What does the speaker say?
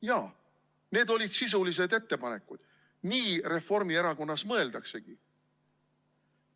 Jaa, need olid sisulised ettepanekud, nii Reformierakonnas mõeldaksegi.